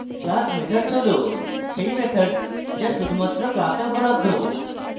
class methods হল সেই methods যা শুধুমাত্র class উপলব্ধ